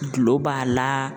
Dulo b'a la